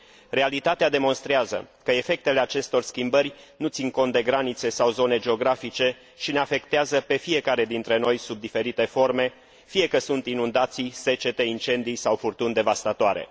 Realitatea demonstrează că efectele acestor schimbări nu țin cont de granițe sau zone geografice și ne afectează pe fiecare dintre noi sub diferite forme, fie că sunt inundații, secete, incendii sau furtuni devastatoare.